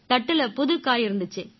தட்டுல புதுக் காய் இருந்திச்சு